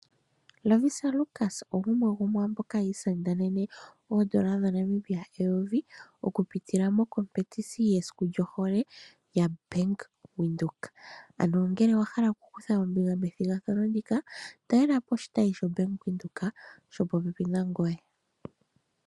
Lovisa Lukas ogumwe gwaamboka yi isindanene oodola dhaNamibia eyovi, oku pitila methigathano lyesiku lyohole lyaBank Windhoek. Ano ngele owa hala oku kutha ombinga methigathano ndika, talela po oshitayi shoBank Windhoek, shopo pepi nangoye.